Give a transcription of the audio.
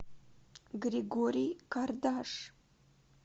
григорий кардаш